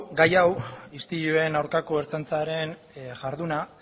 gai hau istiluen aurkako ertzaintzaren jarduna